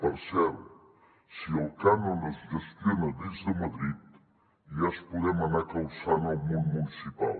per cert si el cànon es gestiona des de madrid ja ens podem anar calçant el món municipal